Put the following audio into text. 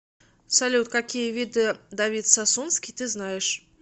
салют какие виды давид сасунский ты знаешь